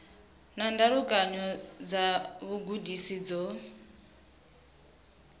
na ndalukanyo dza vhugudisi dzo